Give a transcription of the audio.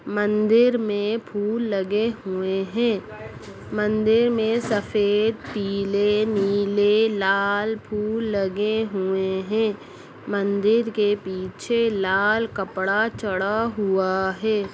मंदिर में फूल लगे हुए है मंदिर में सफेद पीले नीले लाल फूल लगे हुए है मंदिर के पीछे लाल कपड़ा चढ़ा हुआ हैं।